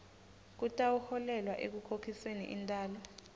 kutawuholela ekukhokhisweni intalo